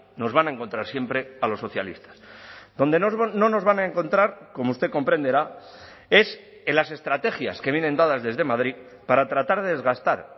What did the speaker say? nos van a encontrar siempre a los socialistas donde no nos van a encontrar como usted comprenderá es en las estrategias que vienen dadas desde madrid para tratar de desgastar